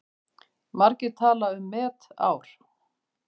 Margir tala um met ár.